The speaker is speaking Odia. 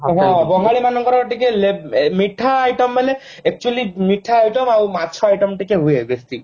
ବଙ୍ଗାଳୀ ମାନଙ୍କର ଟିକେ ଲେ ମିଠା item ମାନେ actually ମିଠା item ଆଉ ମାଛ item ଟିକେ ହୁଏ basic